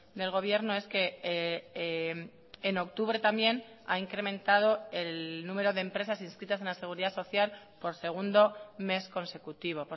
del gobierno es que en octubre también ha incrementado el número de empresas inscritas en la seguridad social por segundo mes consecutivo